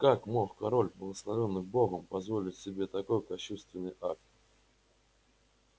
как мог король благословённый богом позволить себе такой кощунственный акт